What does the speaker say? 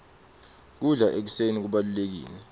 kudla ekuseni kubalulekile